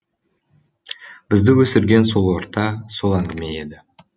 бізді өсірген сол орта сол әңгіме еді